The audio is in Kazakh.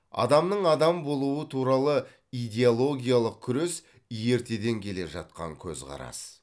адамның адам болуы туралы идиологиялық күрес ертеден келе жатқан көзқарас